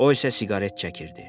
O isə siqaret çəkirdi.